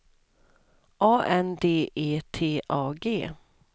A N D E T A G